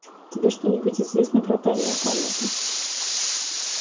тебе что-нибудь известно про тайную комнату